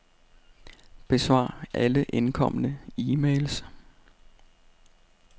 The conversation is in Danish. Besvar alle indkomne e-mails.